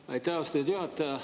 Aitäh, austatud juhataja!